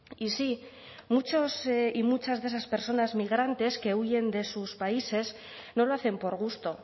y sí muchos y muchas de esas personas migrantes que huyen de sus países no lo hacen por gusto